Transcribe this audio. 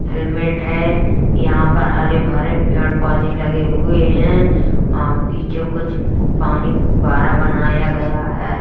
Helmet है यहाँ पर हरे भरे पेड़-पौधे लगे हुए हैं। वहां पीछे कुछ पानी फुव्वारा बनाया गया है।